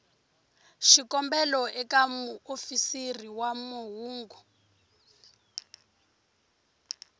xikombelo eka muofisiri wa mahungu